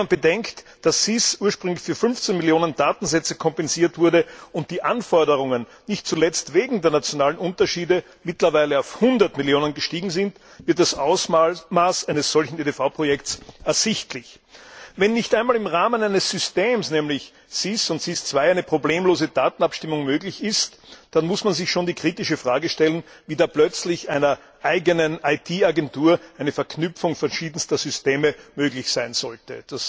Wenn man bedenkt, dass SIS ursprünglich für 15 Millionen Datensätze konzipiert wurde, und die Anforderungen nicht zuletzt wegen der nationalen Unterschiede mittlerweile auf 100 Millionen gestiegen sind, wird das Ausmaß eines solchen EDV Projekts ersichtlich. Wenn nicht einmal im Rahmen eines Systems, nämlich SIS und SIS II, eine problemlose Datenabstimmung möglich ist, dann muss man sich schon die kritische Frage stellen, wie da plötzlich einer eigenen IT Agentur eine Verknüpfung verschiedenster Systeme möglich sein sollte.